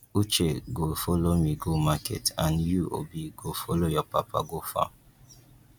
uche go follow me go market and you obi go follow your papa go farm